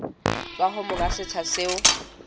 tswa ho monga setsha seo